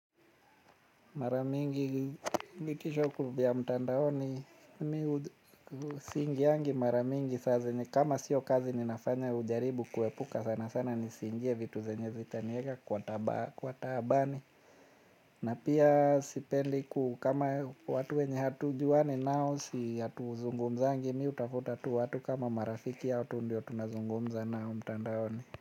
Mara mingi vitisho vya mtandaoni Mi hu siingiangi mara mingi saa zenye kama sio kazi ninafanya hujaribu kuepuka sana sana nisiingie vitu zenye zitanieka kwa taabani. Na pia sipendi ku kama watu wenye hatujuani nao si hatuzungumzangi mi hutafuta tu watu kama marafiki hao tu ndio tunazungumza nao mtandaoni.